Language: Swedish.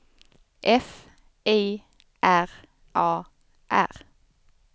F I R A R